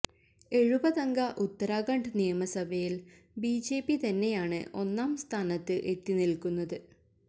എഴുപതംഗ ഉത്തരാഖണ്ഡ് നിയമസഭയില് ബിജെപി തന്നെയാണ് ഒന്നാം സ്ഥാനത്ത് എത്തി നില്ക്കുന്നത്